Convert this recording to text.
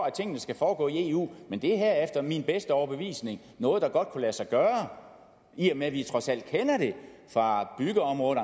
at tingene skal foregå i eu men det her er efter min bedste overbevisning noget der godt kunne lade sig gøre i og med at vi trods alt kender det fra byggeområdet